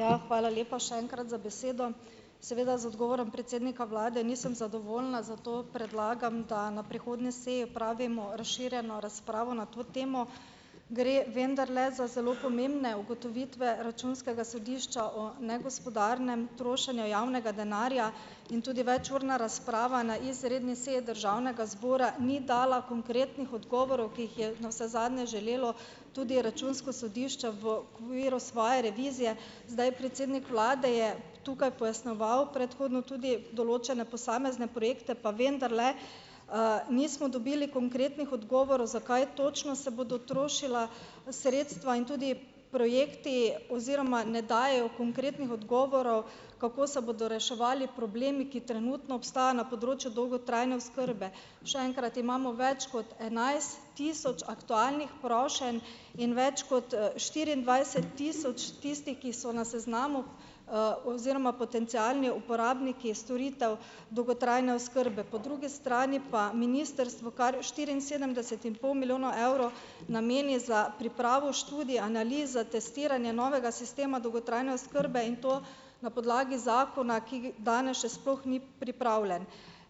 Hvala. Ja , hvala lepa še enkrat za besedo. Seveda z odgovorom predsednika vlade nisem zadovoljna, zato predlagam, da na prihodnji seji opravimo razširjeno razpravo na to temo. Gre vendarle za zelo pomembne ugotovitve Računskega sodišča o negospodarnem trošenju javnega denarja in tudi večurna razprava na izredni seji državnega zbora ni dala konkretnih odgovorov, ki jih je navsezadnje želelo tudi Računsko sodišče v okviru svoje revizije. Zdaj, predsednik vlade je tukaj pojasnjeval predhodno tudi določene posamezne projekte, pa vendarle, nismo dobili konkretnih odgovorov, za kaj točno se bodo trošila sredstva in tudi projekti oziroma ne dajejo konkretnih odgovorov, kako se bodo reševali problemi, ki trenutno na področju dolgotrajne oskrbe. Še enkrat, imamo več kot enajst tisoč aktualnih prošenj in več kot, štiriindvajset tisoč tistih, ki so na seznamu, oziroma potencialni uporabniki storitev dolgotrajne oskrbe. Po drugi strani pa ministrstvo kar štiriinsedemdeset in pol milijona evrov nameni za pripravo študij, analiz za testiranje novega sistema dolgotrajne oskrbe in to na podlagi zakona, ki danes še sploh ni pripravljen.